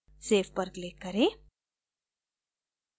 save पर click करें